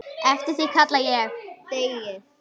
Eftir því kalla ég.